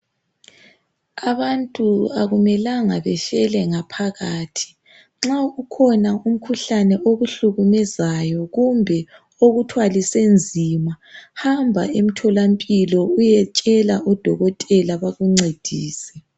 Abantu akumelanga befela ngaphakathi. Nxa kukhona umkhuhlane okubulalayo kumbe okuthwalise nzima hamba emhlola mpilo uyetshela udokotela bakuncedise.